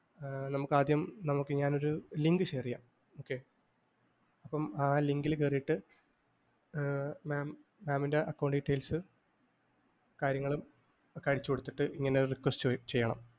ആഹ് നമുക്കാദ്യം നമുക്ക് ഞാനൊരു link share ചെയ്യാം. okay അപ്പം ആ link ൽ കയറീട്ട് ഏർ mam mam ൻ്റെ account details കാര്യങ്ങളൊക്കെ അടിച്ചുകൊടുത്തിട്ട് ഇങ്ങനെയൊരു request ചെയ്യണം